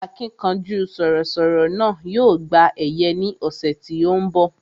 Akínkanjú sọ̀rọ̀ sọ̀rọ̀ náà yóò gba ẹ̀yẹ ní ọ̀sẹ̀ tí ó ń bọ̀